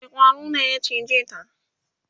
wani ƙwaro ne ya cije ta?